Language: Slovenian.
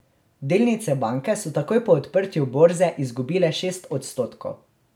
Delnice banke so takoj po odprtju borze izgubile šest odstotkov.